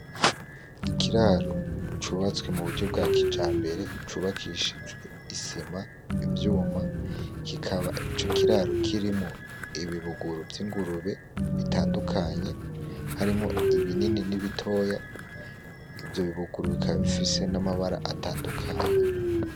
Ikiraro cubatswe mu buryo bwa kijambere cubakishijwe I sima, ivyuma kikaba ico kiraro kirimwo ibi buguru vyingurube bitandukanye harimwo ibinini nibitoya, ivyo bi buguru bikaba bifisemo amabara atandukanye.